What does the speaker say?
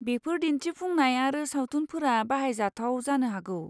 बेफोर दिन्थिफुंनाय आरो सावथुनफोरा बाहायजाथाव जानो हागौ।